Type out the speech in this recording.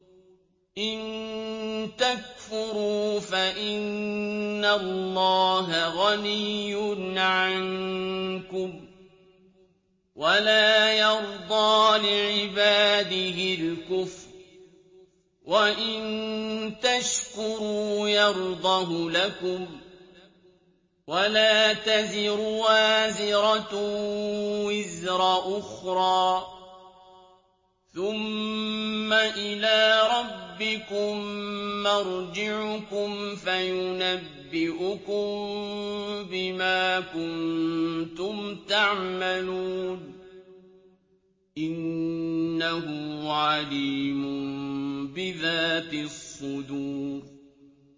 إِن تَكْفُرُوا فَإِنَّ اللَّهَ غَنِيٌّ عَنكُمْ ۖ وَلَا يَرْضَىٰ لِعِبَادِهِ الْكُفْرَ ۖ وَإِن تَشْكُرُوا يَرْضَهُ لَكُمْ ۗ وَلَا تَزِرُ وَازِرَةٌ وِزْرَ أُخْرَىٰ ۗ ثُمَّ إِلَىٰ رَبِّكُم مَّرْجِعُكُمْ فَيُنَبِّئُكُم بِمَا كُنتُمْ تَعْمَلُونَ ۚ إِنَّهُ عَلِيمٌ بِذَاتِ الصُّدُورِ